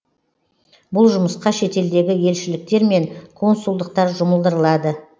бұл жұмысқа шетелдегі елшіліктер мен консулдықтар жұмылдырылады